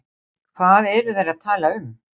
hvað eru þær að tala um